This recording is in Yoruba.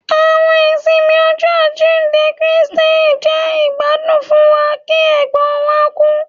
Àwọn ìsinmi Ọjọ ajinde Kristi jẹ igbadun fún wa ki ègbón wa ku